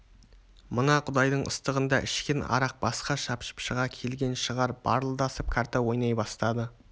мына құдайдың ыстығында ішкен арақ басқа шапшып шыға келген шығар барылдасып карта ойнай бастады